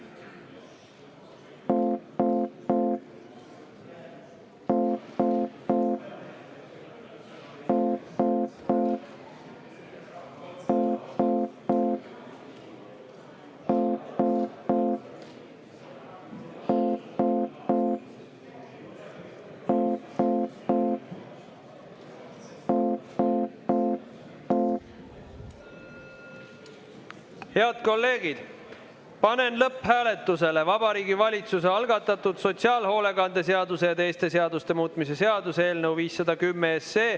Head kolleegid, panen lõpphääletusele Vabariigi Valitsuse algatatud sotsiaalhoolekande seaduse ja teiste seaduste muutmise seaduse eelnõu 510.